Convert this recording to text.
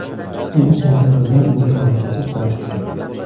U sentabrdan dekabrgacha kurashgan.